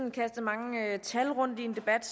er det